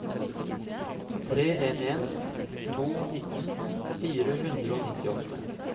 tre en en to nitten fire hundre og nittiåtte